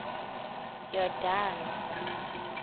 yordane